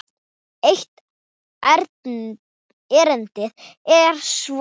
Eitt erindið er svona